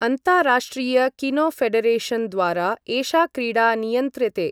अन्ताराष्ट्रिय Kino Federation द्वारा एषा क्रीडा नियन्त्र्यते।